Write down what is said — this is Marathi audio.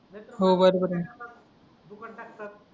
हो बरोबर आहे ना